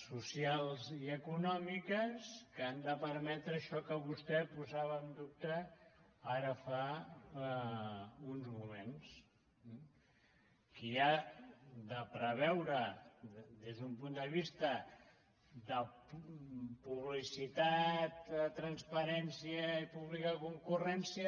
socials i econòmiques que han de permetre això que vostè posava en dubte ara fa uns moments qui ha de preveure des d’un punt de vista de publicitat trans·parència i pública concurrència